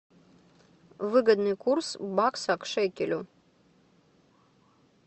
выгодный курс бакса к шекелю